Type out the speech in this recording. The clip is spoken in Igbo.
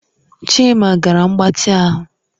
Chima gara mgbatị ahụ